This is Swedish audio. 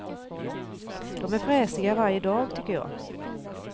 De är fräsiga varje dag, tycker jag.